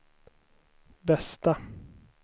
bästa